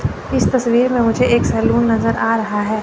इस तस्वीर में मुझे एक सैलून नजर आ रहा है।